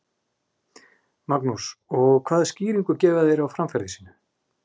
Magnús: Og hvaða skýringu gefa þeir á framferði sínu?